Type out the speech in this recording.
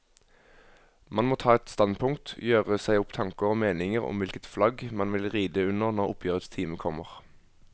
Man må ta et standpunkt, gjøre seg opp tanker og meninger om hvilket flagg man vil ride under når oppgjørets time kommer.